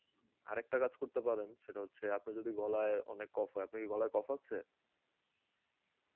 আর একটা কাজ করতে পারেন সেটা হচ্ছে আপনার যদি গলায় অনেক কফ হয়, আপনি কি গলায় অনেক কফ আছে?